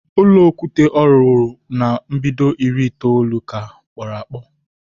Ulọ okwute o wuru na mbido iri itoolu ka kporo akpo